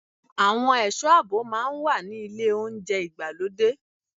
Àwọn ẹ̀sọ́ àbò máa ń wà ní ilé oúnjẹ ìgbàlódé.